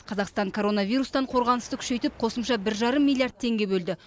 қазақстан коронавирустан қорғанысты күшейтіп қосымша бір жарым миллиард теңге бөлді